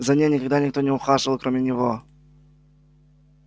за ней же никогда никто не ухаживал кроме него